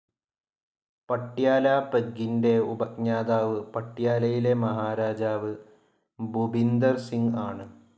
പട്യാല പെഗ്ഗിന്റെ ഉപജ്ഞാതാവ് പട്യാലയിലെ മഹാരാജാ ഭുപിന്ദർ സിംഗ് ആണ്.